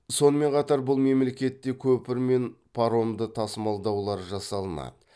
сонымен қатар бұл мемлекетте көпір мен паромды тасымалдаулар жасалынады